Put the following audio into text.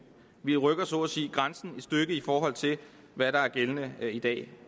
vi rykker så at sige grænsen et stykke i forhold til hvad der er gældende i dag